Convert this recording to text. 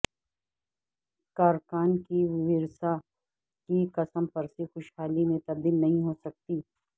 کارکنان کے ورثاء کی کسمپرسی خوشحالی میں تبدیل نہیں ہو سکی